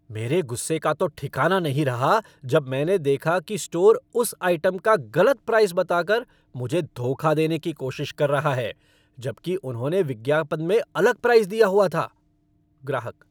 मेरे गुस्से का तो ठिकाना नहीं रहा जब मैंने देखा कि स्टोर उस आइटम का गलत प्राइस बताकर मुझे धोखा देने की कोशिश कर रहा है, जबकि उन्होंने विज्ञापन में अलग प्राइस दिया हुआ था। ग्राहक